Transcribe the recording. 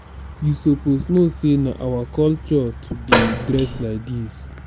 you suppose know sey na our culture to dey dress like dis.